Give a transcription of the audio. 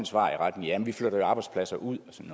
svar i retning af at vi flytter arbejdspladser ud